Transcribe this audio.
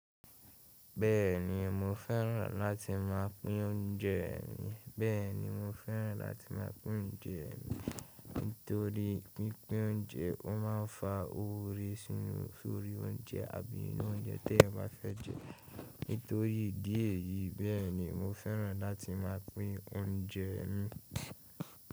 Bẹ́ẹ̀ni mo fẹ́ràn láti máa pín oúnjẹ mi, bẹ́ẹ̀ni mo fẹ́ràn láti máa pín oúnjẹ mi. Nítorí pínpín oúnjẹ ó máa ń fa oore sórí oúnjẹ àbí inú oúnjẹ tí ẹeyan bá fẹ́ jẹ. Nítorí ìdí èyí bẹ́ẹ̀ ni mo fẹ́ràn láti máa pín oúnjẹ mi.